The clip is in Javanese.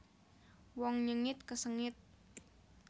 Wong nyengit kesengit